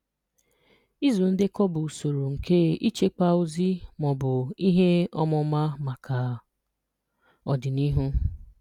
Ịzụ ndekọ bụ usoro nke ịchekwa ozi ma ọ bụ ihe ọmụma maka ọdịnihu.